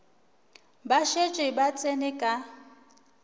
ba šetše ba tsene ka